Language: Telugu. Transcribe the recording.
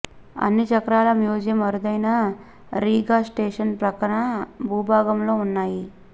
అన్ని చక్రాల మ్యూజియం అరుదైన రీగా స్టేషన్ ప్రక్కన భూభాగంలో ఉన్నాయి